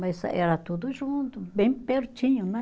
Mas era tudo junto, bem pertinho, né?